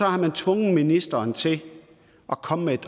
har man tvunget ministeren til at komme med et